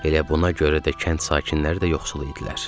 Elə buna görə də kənd sakinləri də yoxsul idilər.